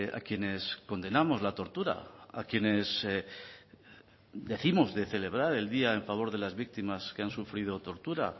a quienes condenamos la tortura a quienes dijimos de celebrar el día a favor de las víctimas que han sufrido tortura